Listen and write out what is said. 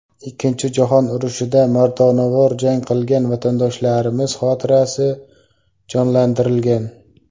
Ikkinchi jahon urushida mardonavor jang qilgan vatandoshlarimiz xotirasi jonlantirilgan.